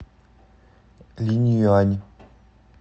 линъюань